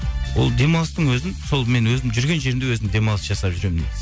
ол демалыстың өзін сол мен өзім жүрген жерімде өзім демалыс жасап жүремін негізі